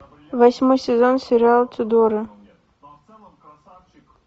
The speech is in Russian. восьмой сезон сериал тюдоры